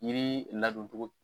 Jiri ladon cogo